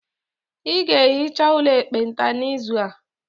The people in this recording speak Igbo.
Ị ga-ehicha ụlọ ekpenta n'izu a.